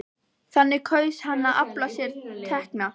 Þannig kaus hann að afla sér tekna.